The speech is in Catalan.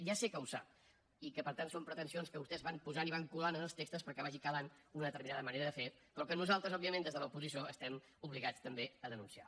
ja sé que ho sap i que per tant són pretensions que vostès van posant i van colant en els textos perquè vagi calant una determinada manera de fer però que nosaltres òbviament des de l’oposició estem obligats també a denunciar